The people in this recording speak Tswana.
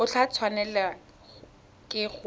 o tla tshwanelwa ke go